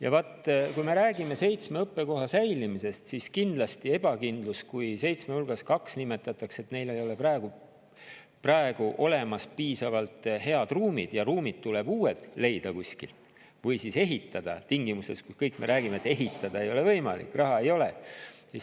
Ja vaat, kui me räägime seitsme õppekoha säilimisest, siis kindlasti ebakindlust, kui seitsme hulgast kaht nimetatakse, et neil ei ole praegu piisavalt head ruumid ja tuleb leida kuskilt või ehitada uued ruumid tingimustes, kus me kõik räägime, et ehitada ei ole võimalik, raha ei ole.